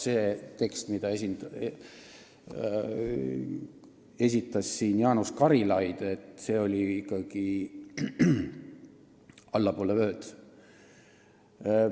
See tekst, mida esitas siin Jaanus Karilaid, oli ikkagi allapoole vööd.